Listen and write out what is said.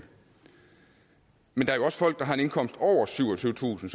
men der er jo også folk der har en indkomst over syvogtyvetusind